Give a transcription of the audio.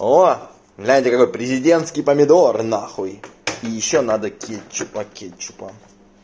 о знаете такой президентский помидор на хуй ещё надо кетчупа кетчупа